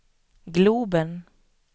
globen